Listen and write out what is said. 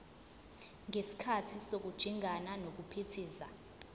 ngesikhathi sokujingana nokuphithiza